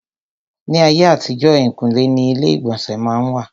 Ní ayé àtijọ́, èhìnkúnlé ni ilé ìgbọ̀nsẹ̀ má n wà.